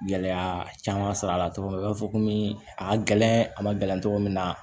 Gɛlɛya caman sɔrɔ a la cogo min na u b'a fɔ komi a ka gɛlɛn a ma gɛlɛn cogo min na